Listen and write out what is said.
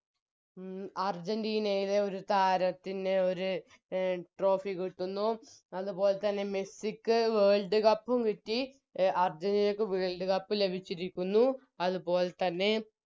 അർജന്റീനയുടെ ഒരു താരത്തിന് ഒര് Trophy കിട്ടുന്നു അത് പോലെത്തന്നെ മെസ്സിക്ക് World cup കിട്ടി അഹ് അർജന്റീനക്ക് World cup ലഭിച്ചിരിക്കുന്നു അത് പോലെത്തന്നെ